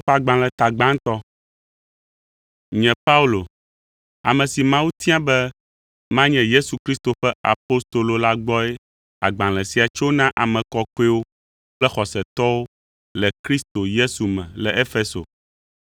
Nye Paulo, ame si Mawu tia be manye Yesu Kristo ƒe apostolo la gbɔe agbalẽ sia tso, Na ame kɔkɔewo kple xɔsetɔwo le Kristo Yesu me le Efeso: